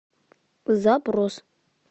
запрос